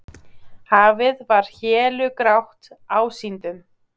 Hafið var hélugrátt ásýndum.